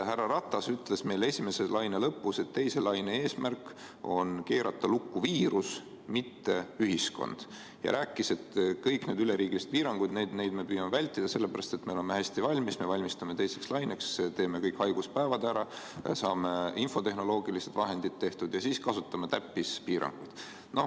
Härra Ratas ütles meile esimese laine lõpus, et teise laine ajal on eesmärk keerata lukku viirus, mitte ühiskond, ja rääkis, et kõiki üleriigilisi piiranguid püütakse vältida, sest me oleme hästi valmis, me valmistume teiseks laineks, teeme kõik haiguspäevadega seonduva ära, saame infotehnoloogilised vahendid tehtud ja siis kasutame täppispiiranguid.